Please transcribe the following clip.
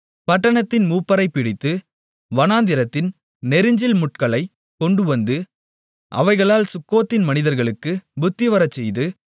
பட்டணத்தின் மூப்பரைப் பிடித்து வனாந்தரத்தின் நெரிஞ்சில்முட்களை கொண்டுவந்து அவைகளால் சுக்கோத்தின் மனிதர்களுக்குப் புத்திவரச்செய்து